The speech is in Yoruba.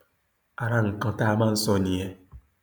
ara nǹkan tá a máa ń sọ nìyẹn